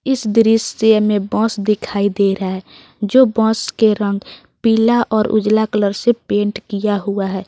इस दृश्य में बस दिखाई दे रहा है जो बस के रंग पीला और उजाला कलर से पेंट किया हुआ है।